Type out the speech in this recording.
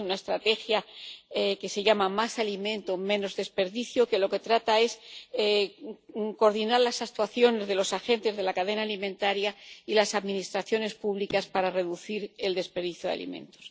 Existe una estrategia que se llama Más alimento, menos desperdicio, que de lo que trata es de coordinar las actuaciones de los agentes de la cadena alimentaria y las administraciones públicas para reducir el desperdicio de alimentos.